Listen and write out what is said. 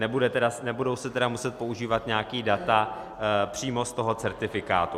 Nebudou se tedy muset používat nějaká data přímo z toho certifikátu.